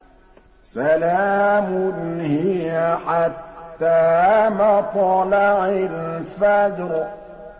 سَلَامٌ هِيَ حَتَّىٰ مَطْلَعِ الْفَجْرِ